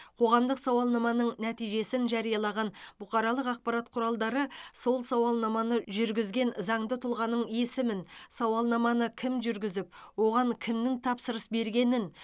қоғамдық сауалнаманың нәтижесін жариялаған бұқаралық ақпарат құралдары сол сауалнаманы жүргізген заңды тұлғаның есімін сауалнаманы кім жүргізіп оған кімнің тапсырыс бергенін